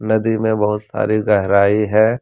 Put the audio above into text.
नदी में बहुत सारी गहराई है।